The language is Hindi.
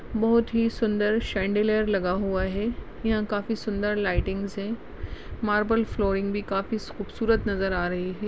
बहोत ही सुंदर शंडि लेयर लगा हुआ है यहा काफी सुंदर लाइटिंग्स है मार्बल फ्लोरिंग भी काफी खूबसूरत नजर आ रही है।